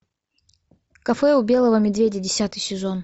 кафе у белого медведя десятый сезон